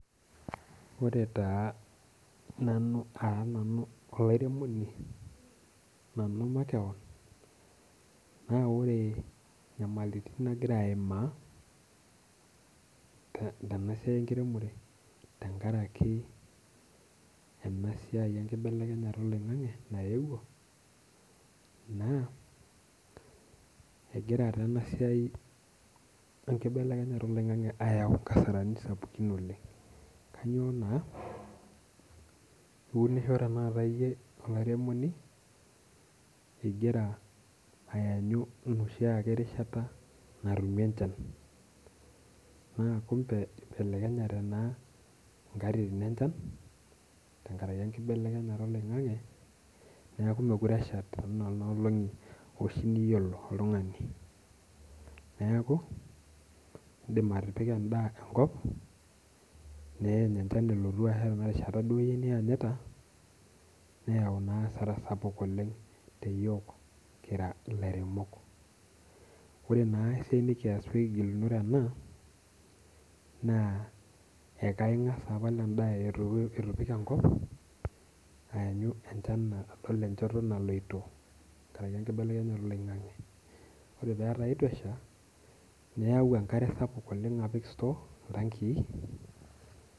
Ore taa nanu taa nanu olimairemoni nanu makeon, naa ore inyamaliritin nagira aimaa tena siai enkiremore tengaraki ena sia enkibelekenyata eloing'ang'e naewuo naa egira taa 3na siai enkibelekenyata eloing'ang'e ayau inkasarani sapukin oleng, kanyioo naa piunisho olairemoni igira aanyu noshiake rishata natumi enchan naa kumpe eibelekenyete naa inkatitin enchan tengaraki enkibelekenyata eloing'ang'e naaku mekore eshata te nena olong'i oshi niyolo oltungani. Neaku indim atipika endaa enkop neany enchan nianyita, neyau naa asara sapuk oleng te yook kira ilairemok. Ore naa esiai nikiyas piikigilunore ena naa ekaingas apal endaa eitu ipik enkop aanyu enchan metabaki enchoto naloto tengaraki enkibelekenyata eloing'ang'e, ore petaa eitosha niyau enkare sapuk oleng apik sutoo, iltankii.